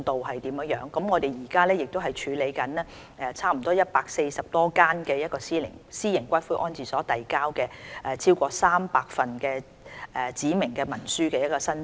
我們現正處理差不多140多間私營骨灰安置所遞交的超過300份指明文書申請。